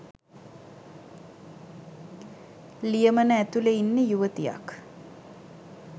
ලියමන ඇතුළෙ ඉන්නෙ යුවතියක්